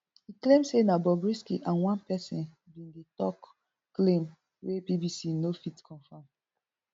e claim say na bobrisky and one pesin bin dey tok claim wey bbc no fit confam